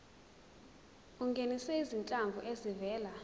ungenise izinhlanzi ezivela